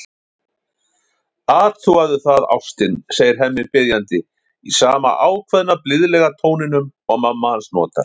Athugaðu það, ástin, segir Hemmi biðjandi, í sama ákveðna, blíðlega tóninum og mamma hans notar.